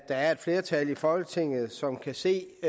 er et flertal i folketinget som kan se